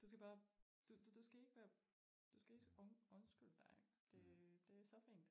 Du skal bare du du du skal ikke være du skal ikke undskylde dig det så fint